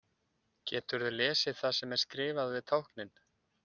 Geturðu lesið það sem er skrifað við táknin?